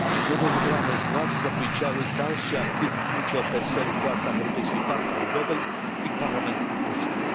Nowo wybrane władze zapowiedziały dalszy aktywny udział PSL u w pracach Europejskiej Partii Ludowej i parlamentu polskiego.